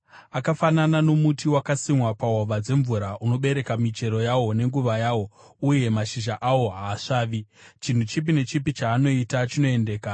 Akafanana nomuti wakasimwa pahova dzemvura, unobereka michero yawo nenguva yawo, uye mashizha awo haasvavi. Chinhu chipi nechipi chaanoita chinoendeka.